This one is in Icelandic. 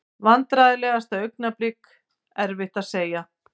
Vandræðalegasta augnablik: Erfitt að segja.